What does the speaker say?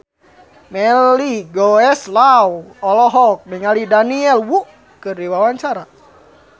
Melly Goeslaw olohok ningali Daniel Wu keur diwawancara